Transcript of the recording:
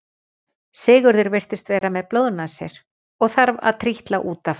Sigurður virðist vera með blóðnasir og þarf að trítla út af.